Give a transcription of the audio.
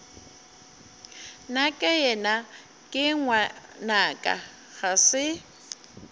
nakeyena ke ngwanaka ga se